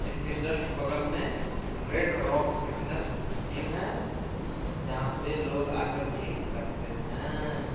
इस के जस्ट ब्लग मे रेड रोक फिटन्स जिम है जहा पे लोग आके जिम करते है।